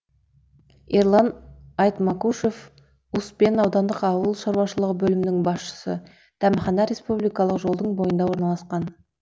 ерлан айтмакушев успен аудандық ауыл шаруашылығы бөлімінің басшысы дәмхана республикалық жолдың бойында орналасқан